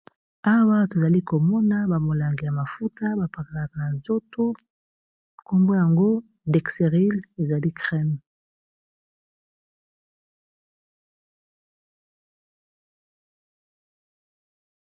Awa tozali komona bamolangi ya mafuta bapakalaka na nzoto nkombo yango dexerile ezali creme.